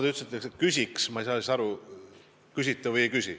Te ütlesite, et küsiks seda – ma ei saa nüüd aru, kas küsite või ei küsi.